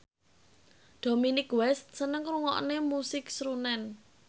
Dominic West seneng ngrungokne musik srunen